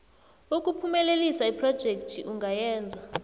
ukuphumelelisa iphrojekhthi ungayenza